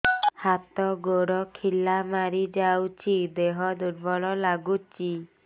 ହାତ ଗୋଡ ଖିଲା ମାରିଯାଉଛି ଦେହ ଦୁର୍ବଳ ଲାଗୁଚି